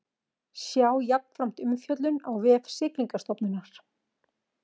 Sjá jafnframt umfjöllun á vef Siglingastofnunar